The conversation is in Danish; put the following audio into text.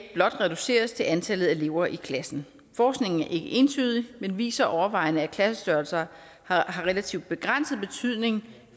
blot reduceres til antallet af elever i klassen forskningen er ikke entydig men viser overvejende at klassestørrelser har relativt begrænset betydning